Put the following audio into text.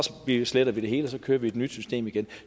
slettede vi det hele for at køre med et nyt system det er